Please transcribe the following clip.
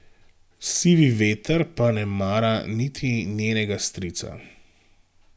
Sivi veter pa ne mara niti njenega strica.